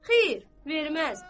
Xeyr, verməz.